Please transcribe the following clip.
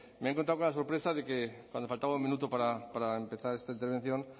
me he encontrado con la sorpresa de que cuando faltaba un minuto para empezar esta intervención